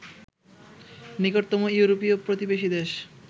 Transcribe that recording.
নিকটতম ইউরোপীয় প্রতিবেশী দেশ